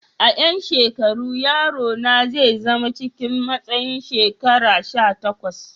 A yan shekaru, yaro na zai zama cikin matsayin shekaru sha takwas.